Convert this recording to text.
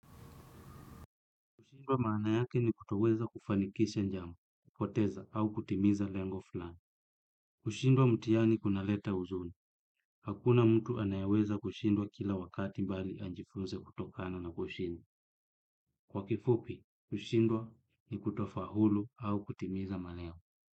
Kushindwa maana yake ni kutoweza kufanikisha njama, poteza au kutimiza lengo fulani. Kushindwa mtihani kunaleta huzuni. Hakuna mtu anayeweza kushindwa kila wakati bali ajifunze kutokano na kushindww. Kwa kifupi, kushindwa ni kutofaulu au kutimiza malengo.